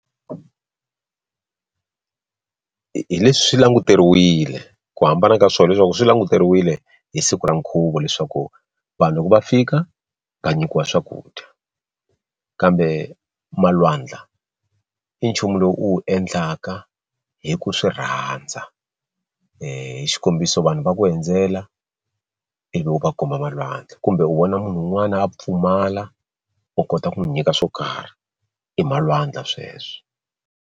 Hi leswi swi languteriwile ku hambana ka swona leswaku swi languteriwile hi siku ra nkhuvo leswaku vanhu loko va fika va nyikiwa swakudya kambe malwandla i nchumu lowu u wu endlaka hi ku swi rhandza hi xikombiso vanhu va ku hundzela ivi u va komba malwandla kumbe u vona munhu un'wana a pfumala u kota ku n'wi nyika swo karhi i malwandla sweswo.